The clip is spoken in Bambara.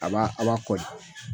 A b'a a b'a kɔli